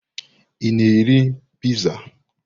Ị na-eri piizaa?